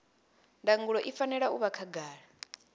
ndangulo i fanela u vha khagala